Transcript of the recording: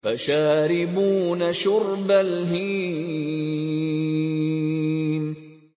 فَشَارِبُونَ شُرْبَ الْهِيمِ